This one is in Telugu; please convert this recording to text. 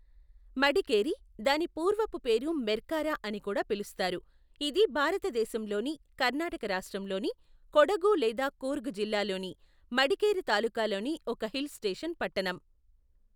మడికేరి, దాని పూర్వపు పేరు మెర్కారా అని కూడా పిలుస్తారు, ఇది భారతదేశంలోని కర్ణాటక రాష్ట్రంలోని కొడగు లేదా కూర్గ్ జిల్లాలోని మడికేరి తాలూకాలోని ఒక హిల్ స్టేషన్ పట్టణం.